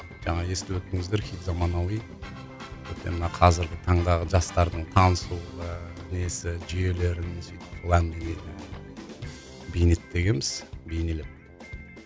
жаңағы естіп өттіңіздер хит заманауи бізде мына қазіргі таңдағы жастардың танысуға несі жүйелерін сүйтіп әңгіме бейнеттегенбіз бейнелеп